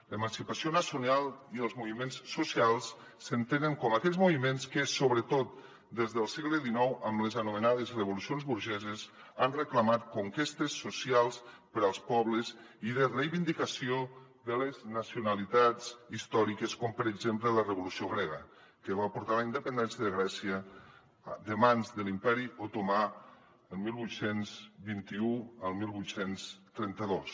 l’emancipació nacional i els moviments socials s’entenen com aquells moviments que sobretot des del segle xix amb les anomenades revolucions burgeses han reclamat conquestes socials per als pobles i de reivindicació de les nacionalitats històriques com per exemple la revolució grega que va portar a la independència de grècia de mans de l’imperi otomà del divuit vint u al divuit trenta dos